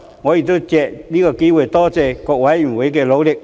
我亦藉此機會多謝各委員的努力。